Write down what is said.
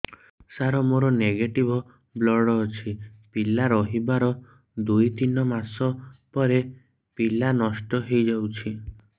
ସାର ମୋର negative blood ଅଛି ପିଲା ରହିବାର ଦୁଇ ତିନି ମାସ ପରେ ପିଲା ନଷ୍ଟ ହେଇ ଯାଉଛି